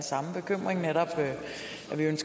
man lavede